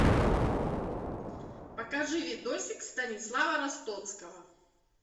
покажи видосик станислава ростоцкого